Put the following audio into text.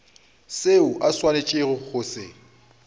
seo o swanetšego go se